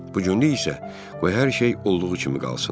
Bu günlük isə qoy hər şey olduğu kimi qalsın.